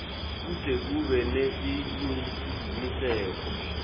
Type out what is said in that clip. kute kube nesiciniseko